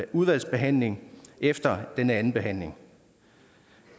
udvalgsbehandling efter denne andenbehandling